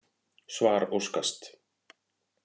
Svar óskast.